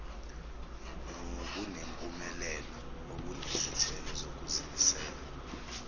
nobunempumelelo obunezithelo zokuzimisela